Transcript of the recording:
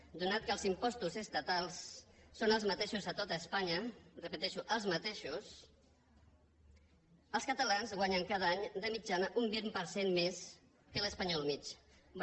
atès que els impostos estatals són els mateixos a tot espanya ho repeteixo els mateixos els catalans guanyen cada any de mitjana un vint per cent més que l’espanyol mitjà